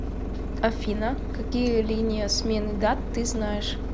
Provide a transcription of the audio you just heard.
афина какие линия смены дат ты знаешь